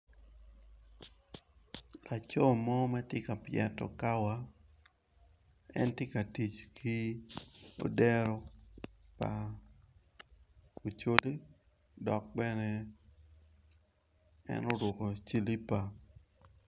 Laco mo matye ka pyeto kawa en tye ka tic ki odero pa ocodo dok bene en oruko cilipa.